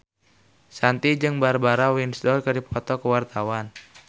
Shanti jeung Barbara Windsor keur dipoto ku wartawan